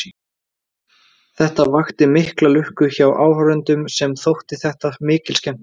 Þetta vakti mikla lukku hjá áhorfendum sem þótti þetta mikil skemmtun.